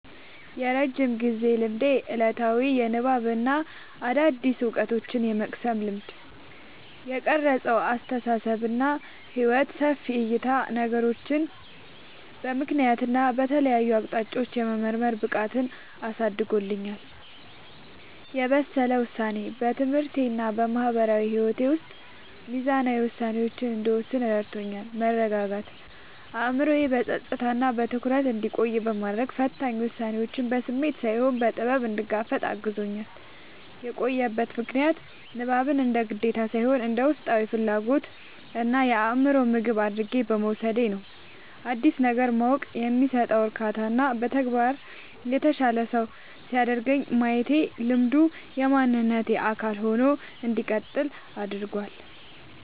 የረጅም ጊዜ ልማዴ፦ ዕለታዊ የንባብና አዳዲስ ዕውቀቶችን የመቅሰም ልማድ። የቀረጸው አስተሳሰብና ሕይወት፦ ሰፊ ዕይታ፦ ነገሮችን በምክንያትና በተለያዩ አቅጣጫዎች የመመርመር ብቃትን አሳድጎልኛል። የበሰለ ውሳኔ፦ በትምህርቴና በማህበራዊ ሕይወቴ ውስጥ ሚዛናዊ ውሳኔዎችን እንድወስን ረድቶኛል። መረጋጋት፦ አእምሮዬ በጸጥታና በትኩረት ውስጥ እንዲቆይ በማድረግ፣ ፈታኝ ሁኔታዎችን በስሜት ሳይሆን በጥበብ እንድጋፈጥ አግዞኛል። የቆየበት ምክንያት፦ ንባብን እንደ ግዴታ ሳይሆን እንደ ውስጣዊ ፍላጎትና የአእምሮ ምግብ አድርጌ በመውሰዴ ነው። አዲስ ነገር ማወቅ የሚሰጠው እርካታና በተግባር የተሻለ ሰው ሲያደርገኝ ማየቴ ልማዱ የማንነቴ አካል ሆኖ እንዲቀጥል አድርጎታል።